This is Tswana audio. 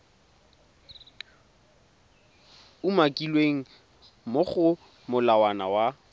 umakilweng mo go molawana wa